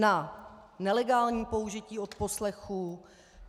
Na nelegální použití odposlechů.